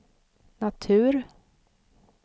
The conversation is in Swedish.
natur